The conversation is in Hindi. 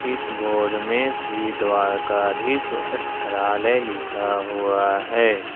इस बोर्ड में श्री द्वारकाधीश वस्त्रालय लिखा हुआ है।